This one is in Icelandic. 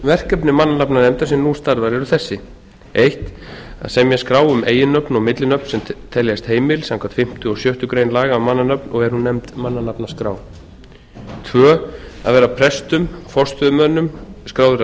verkefni mannanafnanefndar sem nú starfar eru þessi fyrstu að semja skrá um eiginnöfn og millinöfn sem teljast heimil samkvæmt fimmtu og sjöttu grein laga um mannanöfn og er hún nefnd mannanafnaskrá annars að vera prestum forstöðumönnum skráðra